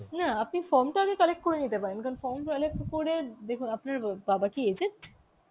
না আপনি form টা আগে collect করে নিতে পারেন কারণ form তাহলে কি করে দেখুন আপনার বাবা কি aged?